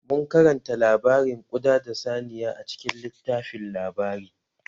Mun karanta labarin ƙuɗa da saniya a cikin littafin labari